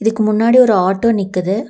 இதுக்கு முன்னாடி ஒரு ஆட்டோ நிக்குது.